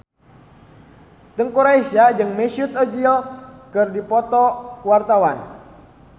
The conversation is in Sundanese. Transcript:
Teuku Rassya jeung Mesut Ozil keur dipoto ku wartawan